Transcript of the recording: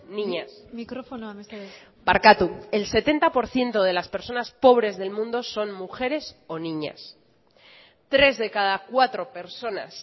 niñas mikrofonoa mesedez barkatu el setenta por ciento de las personas pobres del mundo son mujeres o niñas tres de cada cuatro personas